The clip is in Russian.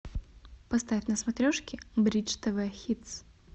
поставь на смотрешке бридж тв хитс